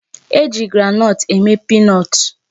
E ji groundnut eme peanut.